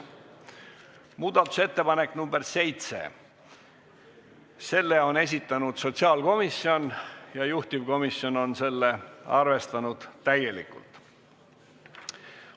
Muudatusettepanek nr 7, selle on esitanud sotsiaalkomisjon ja juhtivkomisjon on arvestanud seda täielikult.